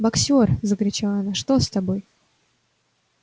боксёр закричала она что с тобой